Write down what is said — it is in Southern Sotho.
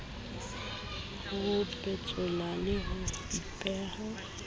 ho petsoha le ho epeha